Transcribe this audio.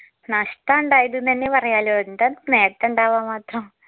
നഷ്ട്ടാ ഇണ്ടായത് ന്നെന്നെ പറയാലോ എന്താ നേട്ടണ്ടവാൻ മാത്രം